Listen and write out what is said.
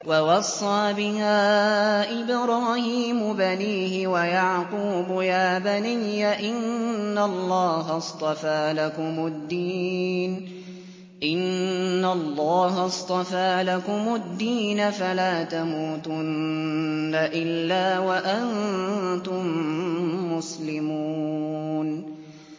وَوَصَّىٰ بِهَا إِبْرَاهِيمُ بَنِيهِ وَيَعْقُوبُ يَا بَنِيَّ إِنَّ اللَّهَ اصْطَفَىٰ لَكُمُ الدِّينَ فَلَا تَمُوتُنَّ إِلَّا وَأَنتُم مُّسْلِمُونَ